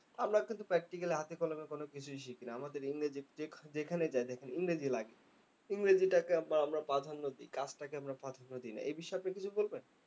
আমরা কিন্ত practically হাতে কলমে কোনো কিছুই শিখি না। আমাদের ইংরেজি যেযেখানেই দেখেন ইংরেজি লাগে। ইংরেজিটাকে আমরা প্রাধান্য দেই, কাজটাকে আমরা প্রাধান্য দেইনা। এই বিষয়ে আপনি কিছু বলবেন?